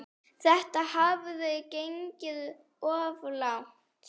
Þetta hafði gengið of langt.